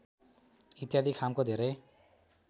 इत्यादि खामको धेरै